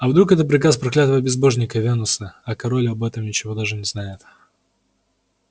а вдруг это приказ проклятого безбожника венуса а король об этом ничего даже не знает